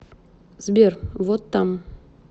сбер вот там